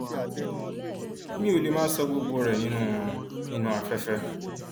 mi ò lè máa ṣọ gbogbo rẹ nínú nínú afẹfẹ